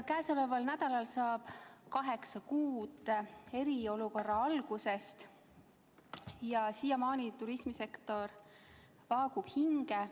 Käesoleval nädalal saab kaheksa kuud eriolukorra algusest ja siiamaani turismisektor vaagub hinge.